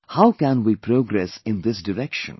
How can we progress in this direction